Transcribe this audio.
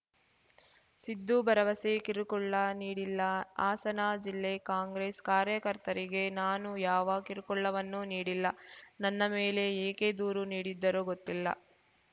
ಸಿದ್ದು ಭರವಸೆ ಕಿರುಕುಳ್ಳ ನೀಡಿಲ್ಲ ಹಾಸನ ಜಿಲ್ಲೆ ಕಾಂಗ್ರೆಸ್‌ ಕಾರ್ಯಕರ್ತರಿಗೆ ನಾನು ಯಾವ ಕಿರುಕುಳ್ಳವನ್ನೂ ನೀಡಿಲ್ಲ ನನ್ನ ಮೇಲೆ ಏಕೆ ದೂರು ನೀಡಿದ್ದರೋ ಗೊತ್ತಿಲ್ಲ